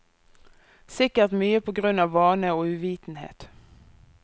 Sikkert mye på grunn av vane og uvitenhet.